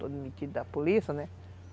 todo metido da polícia, né?